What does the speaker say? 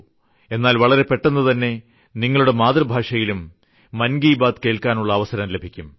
എന്നാൽ വളരെ പെട്ടെന്നുതന്നെ നിങ്ങളുടെ മാതൃഭാഷയിലും മൻ കി ബാത് കേൾക്കാനുള്ള അവസരം ലഭിക്കും